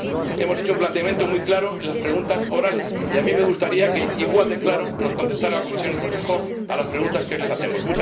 Hemos hecho un planteamiento muy claro en las preguntas orales y a mí me gustaría que igual de claro nos contestaran la Comisión y el Consejo a las preguntas que hoy les formulamos.